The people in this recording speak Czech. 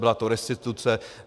Byla to restituce.